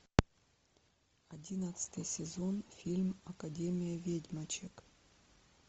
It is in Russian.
одиннадцатый сезон фильм академия ведьмочек